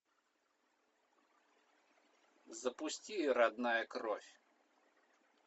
запусти родная кровь